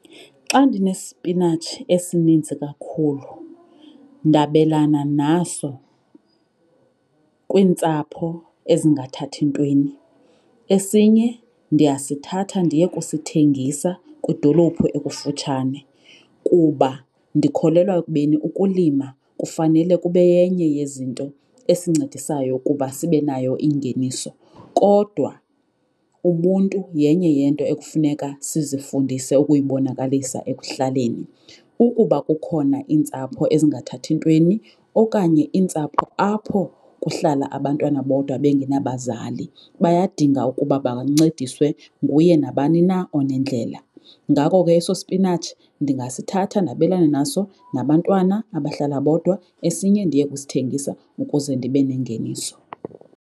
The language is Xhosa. Xa ndinespinatshi esininzi kakhulu ndabelana naso kwiintsapho ezingathathi ntweni, esinye ndiyasithatha ndiye kusithengisa kwidolophu ekufutshane kuba ndikholelwa ekubeni ukulima kufanele kube yenye yezinto esincedisayo ukuba sibe nayo ingeniso. Kodwa ubuntu yenye yeento ekufuneka sizifundise ukuyibonakalisa ekuhlaleni. Ukuba kukhona iintsapho ezingathathi ntweni okanye iintsapho apho kuhlala abantwana bodwa bengenabazali, bayadinga ukuba bancediswe nguye nabani na onendlela. Ngako ke eso spinatshi ndingasithatha ndabelane naso nabantwana abahlala bodwa, esinye ndiye kusithengisa ukuze ndibe nengeniso.